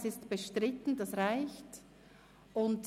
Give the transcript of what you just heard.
Dass es bestritten ist, reicht aus.